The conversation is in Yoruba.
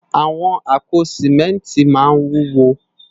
Awòn àpó simènti má n wúwó